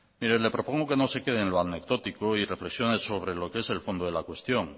mire le propongo que no se quede en lo anecdótico y reflexione